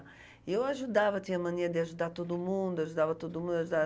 E eu ajudava, tinha mania de ajudar todo mundo, eu ajudava todo mun, eu ajudava